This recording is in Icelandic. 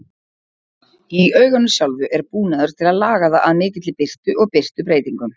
Í auganu sjálfu er búnaður til að laga það að mikilli birtu og birtubreytingum.